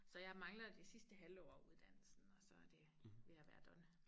Så jeg mangler det sidste halve år af uddannelsen og så er det ved at være done